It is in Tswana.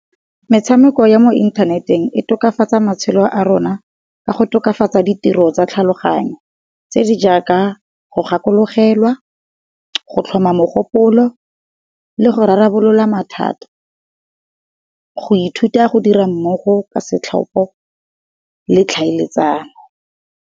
Metshameko ya mo inthaneteng e tokafatsa matshelo a rona ka go tokafatsa ditiro tsa tlhaloganyo tse di jaaka go gakologelwa, go tlhoma mogopolo, le go rarabolola mathata, go ithuta go dira mmogo ka setlhopo, le tlhaeletsano.